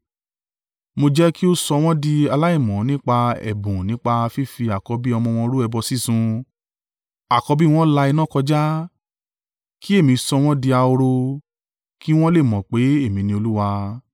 mo jẹ́ kí ó sọ wọn di aláìmọ́ nípa ẹ̀bùn nípa fífi àkọ́bí ọmọ wọn rú ẹbọ sísun, àkọ́bí wọn la iná kọjá, kí èmi sọ wọ́n di ahoro, kí wọn le mọ̀ pé èmi ni Olúwa.’